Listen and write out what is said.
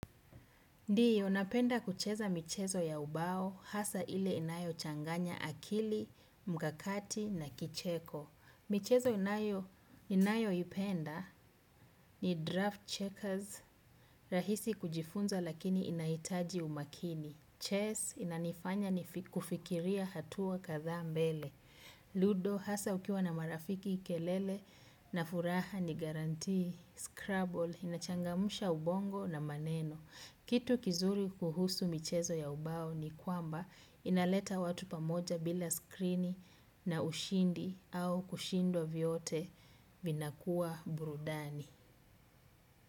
Ndiyo, napenda kucheza michezo ya ubao, hasa ile inayo changanya akili, mkakati na kicheko. Michezo inayo ninayoipenda ni draft checkers rahisi kujifunza lakini inahitaji umakini. Chess inanifanya nifi kufikiria hatua kadhaa mbele Ludo, hasa ukiwa na marafiki, kelele na furaha ni guarantee scramble inachangamsha ubongo na maneno. Kitu kizuri kuhusu michezo ya ubao ni kwamba inaleta watu pamoja bila skrini na ushindi au kushindwa vyote vinakuwa burudani.